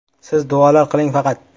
Siz duolar qiling faqat”.